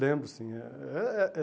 Lembro, sim. Eh eh eh eh